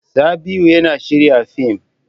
Sabi'u yana shirya fim.